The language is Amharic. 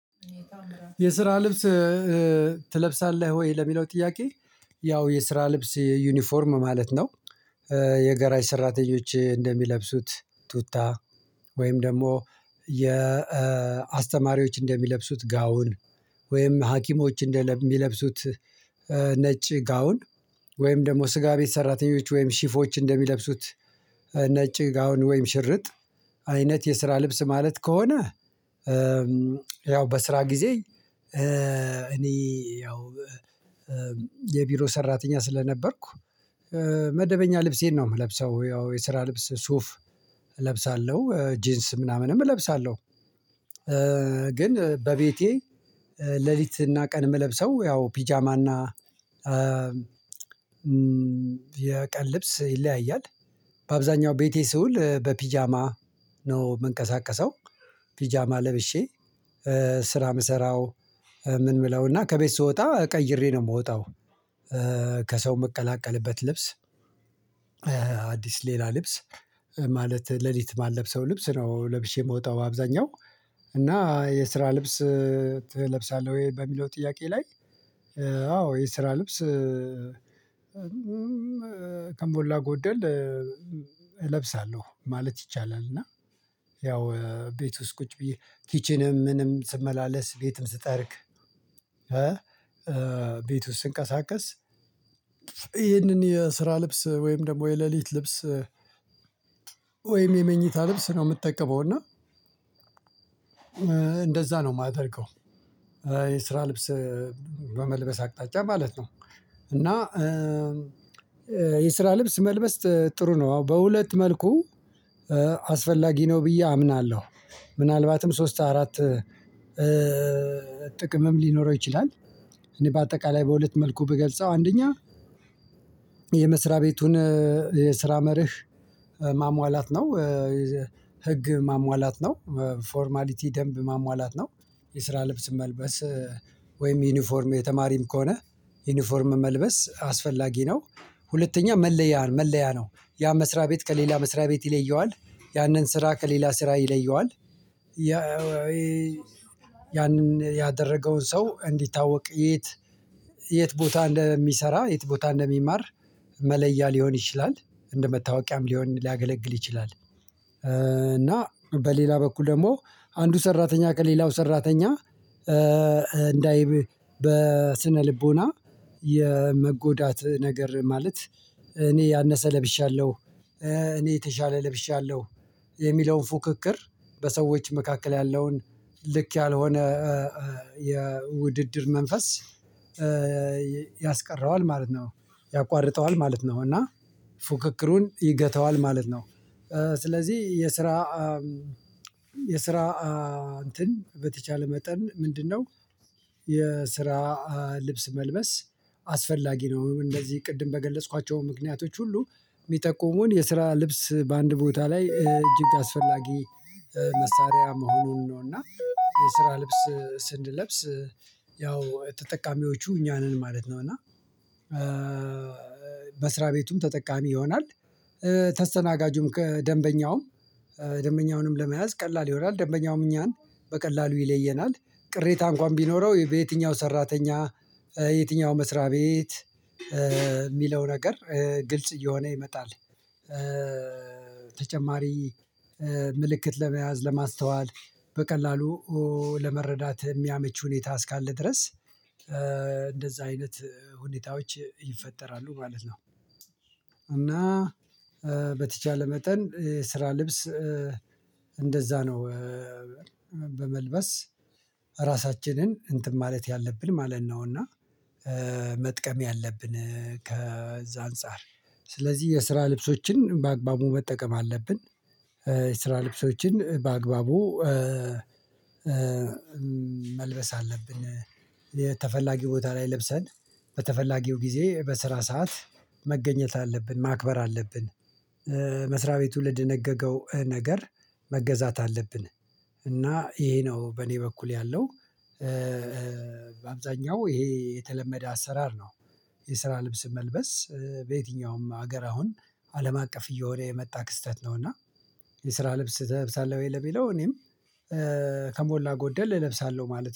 የስራ ልብስ ትለብሳለህ ወይ? ለሚለው ጥያቄ ያው የስራ ልብስ ዩኒፎርም ማለት ነው። የጋራጅ ሰራተኞች እንደሚለብሱት ቱታ ወይም ደግሞ የ የአስተማሪዎች እንደሚለብሱት ጋውን ወይም ሀኪሞች እንደሚለብሱት ነጭ ጋውን ወይም ደግሞ ስጋ ቤት ሰራተኞች ወይም ሺፎች እንደሚለብሱት ነጭ ጋውን ወይም ሽርጥ አይነት የስራ ልብስ ማለት ከሆነ። ያው በስራ ጊዜ እኔ ያው የቢሮ ሰራተኛ ስለነበርኩ መደበኛ ልብሴን ነው የምለብሰው ያው የስራ ልብስ ሱፍ እለብሳለሁ ጂንስ ምናምንም እለብሳለሁ። ግን በቤቴ ሌሊትና ቀን የምለብሰው ያው ቢጃማና የቀን ልብስ ይለያያል። በአብዛኛው ቤቴ ስውል በቢጃማ ነው የምንቀሳቀሰው ቢጃማ ለብሼ ስራ የምሰራው ምን ምለውና ከቤት ስወጣ ቀይሬ ነው የምወጣው። ከሰው ምቀላቀልበት ልብስ አዲስ ሌላ ልብስ ማለት ሌሊት ማልለብሰው ልብስ ነው ለብሼ የምወጣው። አብዛኛው እና የስራ ልብስ ትለብሳለህ ወይ በሚለው ጥያቄ ላይ። አዎ የስራ ልብስ ከሞላ ጎደል እለብሳለሁ ማለት ይቻላል። እና ያው ቤት ውስጥ ቁጭ ብዬ ኪችንም ምንም ስመላለስ ቤትም ስጠርግ። ቤት ውስጥ ስንቀሳቀስ ይህንን የስራ ልብስ ወይም ደግሞ የሌሊት ልብስ ወይም የመኝታ ልብስ ነው የምጠቀመው። እና እንደዛ ነው የማደርገው። የስራ ልብስ በመልበስ አቅጣጫ ማለት ነው። እና የስራ ልብስ መልበስ ጥሩ ነው አዎ በሁለት መልኩ አስፈላጊ ነው ብዬ አምናለሁ። ምናልባትም ሶስት አራት ጥቅምም ሊኖረው ይችላል። እኔ በአጠቃላይ በሁለት መልኩ ብገልጸው አንደኛ የመስሪያ ቤቱን የስራ መርህ ማሟላት ነው። ህግ ማሟላት ነው ፎርማሊቲ ደንብ ማሟላት ነው። የስራ ልብስ መልበስ ወይም ዩኒፎርም የተማሪም ከሆነ ዩኒፎርም መልበስ አስፈላጊ ነው። ሁለተኛ መለያ ነው መለያ ነው ያ መስሪያ ቤት ከሌላ መስሪያ ቤት ይለየዋል ያንን ስራ ከሌላ ስራ ይለየዋል። ያ ያንን ያደረገውን ሰው እንዲታወቅ የት የት ቦታ እንደሚሰራ የት ቦታ እንደሚማር መለያ ሊሆን ይችላል። እንደ መታወቂያም ሊሆን ሊያገለግል ይችላል። እና በሌላ በኩል ደግሞ አንዱ ሰራተኛ ከሌላው ሰራተኛ እንዳይ በስነ ልቦና የመጎዳት ነገር ማለት እኔ ያነሰ ለብሻለሁ እኔ የተሻለ ለብሻለሁ የሚለውን ፉክክር በሰዎች መካከል ያለውን ልክ ያልሆነ የውድድር መንፈስ ያስቀረዋል ማለት ነው። ያቋርጠዋል ማለት ነው። እና ፉክክሩን ይገታዋል ማለት ነው። ስለዚህ የስራ የስራ እንትን በተቻለ መጠን ምንድነው? የስራ ልብስ መልበስ አስፈላጊ ነው እንደዚህ ቅድም በገለጽኳቸው ምክንያቶች ሁሉ የሚጠቁሙን የስራ ልብስ በአንድ ቦታ ላይ እጅግ አስፈላጊ መሳሪያ መሆኑን ነው። እና የስራ ልብስ ስንለብስ ያው ተጠቃሚዎቹ እኛ ነን ማለት ነው። እና በስራ ቤቱም ተጠቃሚ ይሆናል። ተስተናጋጁም ከደንበኛውም ደንበኛውንም ለመያዝ ቀላል ይሆናል ደንበኛውም እኛን በቀላሉ ይለየናል ቅሬታ እንኳን ቢኖረው በየትኛው ሰራተኛ የትኛው መስሪያ ቤት ሚለው ነገር ግልጽ እየሆነ ይመጣል። ተጨማሪ ምልክት ለመያዝ ለማስተዋል በቀላሉ ለመረዳት የሚያመች ሁኔታ እስካለ ድረስ እንደዛ አይነት ሁኔታዎች ይፈጠራሉ ማለት ነው። እና በተቻለ መጠን የስራ ልብስ እንደዛ ነው በመልበስ ራሳችንን እንትን ማለት ያለብን ማለት ነው። እና መጥቀም ያለብን ከዛ አንፃር ስለዚህ የስራ ልብሶችን በአግባቡ መጠቀም አለብን። የስራ ልብሶችን በአግባቡ መልበስ አለብን። የተፈላጊው ቦታ ላይ ለብሰን በተፈላጊው ጊዜ በስራ ሰዓት መገኘት አለብን ማክበር አለብን። መስሪያ ቤቱ ለደነገገው ነገር መገዛት አለብን። እና ይሄ ነው በእኔ በኩል ያለው። በአብዛኛው ይሄ የተለመደ አሰራር ነው። የስራ ልብስ መልበስ በየትኛውም ሀገር አሁን አለም አቀፍ እየሆነ የመጣ ክስተት ነው። እና የስራ ልብስ ትለብሳለህ ወይ ለሚለው እኔም ከሞላ ጎደል እለብሳለሁ ማለት ነው